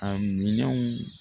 A miinɛnw